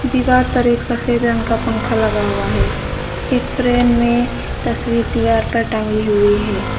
दीवार पर एक सफेद रंग का पंखा लगा हुआ है एक फ्रेम में तस्वीर दीवार पर टांगी हुई है।